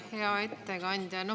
Hea ettekandja!